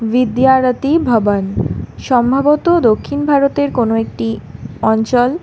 ভিদ্যারতি ভবন সম্ভবত দক্ষিণ ভারতের কোনো একটি অঞ্চল।